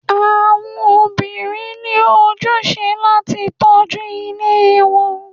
Àwọn òbirin ní ojúṣe láti tọjú ílé wọn